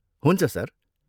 हुन्छ, सर।